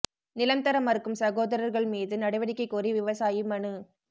நிலம் தர மறுக்கும் சகோதரா்கள் மீது நடவடிக்கைக் கோரி விவசாயி மனு